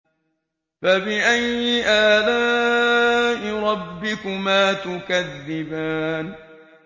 فَبِأَيِّ آلَاءِ رَبِّكُمَا تُكَذِّبَانِ